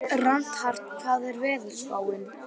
Reinhart, hvernig er veðurspáin?